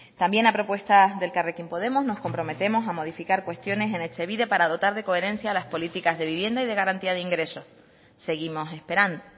también a propuesta del elkarrekin podemos nos comprometemos a modificar cuestiones en etxebide para dotar de coherencia a las políticas de vivienda y de garantía de ingresos seguimos esperando